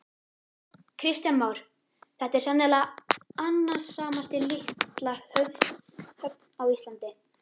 Kristján Már: Þetta er sennilega annasamasta litla höfn á Íslandi?